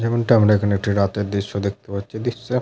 যেমনটা আমরা এখানে একটি রাতের দৃশ্য দেখতে পাচ্ছি দৃশ্যে --